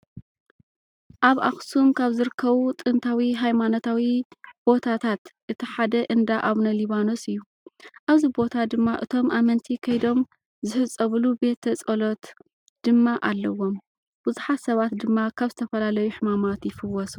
ኣብ ኣክሱም ካብ ዝርከቡ ጥንታዊ ሃይማኖታዊ ቦታታት እቲ ሓደ እንዳ ኣቡነ ሊባኖስ እዩ። ኣብዚ ቦታ ድማ እቶም ኣመንቲ ከይዶም ዝህፀብሉ ቤተ ፀሎት ድማ ኣለዎም ብዙሓት ሰባት ድማ ካብ ዝተፈላለዩ ሕማማት ይፍወሱ።